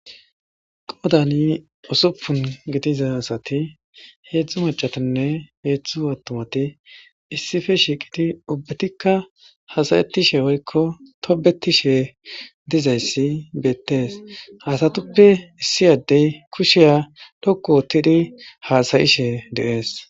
Qoddan ussupun giidiza asati heedzdzu maccatanne heedzdzu Atumati issippe shiiqidi uttidikka haassayetishshe woykko tobbetishe dizayssi betees.ha asati eqidi issi adey kushshe dhoqqu oththi hasaayishe de'es.